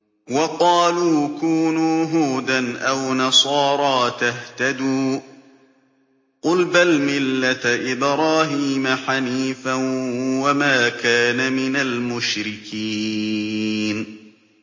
وَقَالُوا كُونُوا هُودًا أَوْ نَصَارَىٰ تَهْتَدُوا ۗ قُلْ بَلْ مِلَّةَ إِبْرَاهِيمَ حَنِيفًا ۖ وَمَا كَانَ مِنَ الْمُشْرِكِينَ